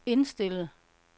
indstillet